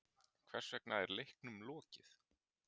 Hversvegna er leiknum lokið?